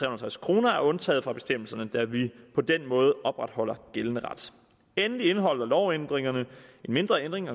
og halvtreds kroner er undtaget fra bestemmelserne da vi på den måde opretholder gældende ret endelig indeholder lovændringerne en mindre ændring